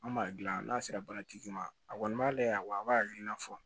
An b'a dilan n'a sera baaratigi ma a kɔni ma layɛ wa a b'a hakilina fɔ